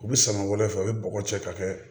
U bɛ samara fɛ u bɛ bɔgɔ cɛ ka kɛ